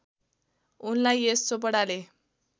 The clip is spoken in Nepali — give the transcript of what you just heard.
उनलाई यश चोपडाले